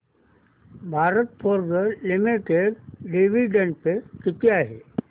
Bharat Forge limited dividend pay किती आहे